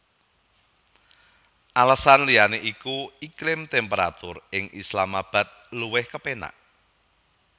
Alesan liyané iku iklim temperatur ing Islamabad luwih kepénak